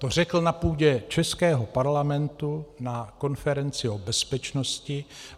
To řekl na půdě českého parlamentu na konferenci o bezpečnosti.